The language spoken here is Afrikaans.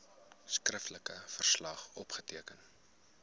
skriftelike verslag opgeteken